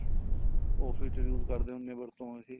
office use ਕਰਦੇ ਹੁੰਨੇ ਏ ਵਰਤੋ ਵਾਸਤੇ